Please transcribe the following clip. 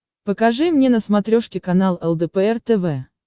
покажи мне на смотрешке канал лдпр тв